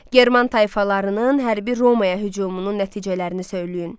German tayfalarının hərbi Romaya hücumunun nəticələrini söyləyin.